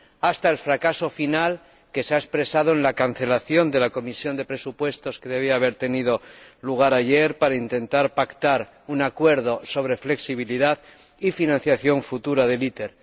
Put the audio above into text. hasta el fracaso final que se ha expresado en la cancelación de la reunión de la Comisión de Presupuestos que debería haber tenido lugar ayer para intentar pactar un acuerdo sobre la flexibilidad y financiación futura de ITER.